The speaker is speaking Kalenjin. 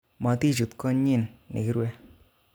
Motichut konyin nekirwe